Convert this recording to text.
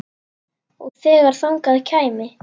Og þegar þangað kæmi.